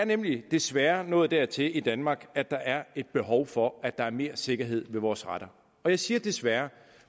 nemlig desværre nået dertil i danmark at der er et behov for at der er mere sikkerhed ved vores retter og jeg siger desværre